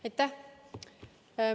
Aitäh!